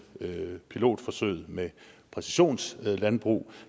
pilotforsøget med præcisionslandbrug